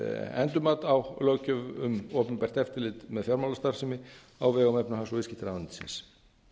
endurmat á löggjöf um opinbert eftirlit með fjármálastarfsemi á vegum efnahags og viðskiptaráðuneytisins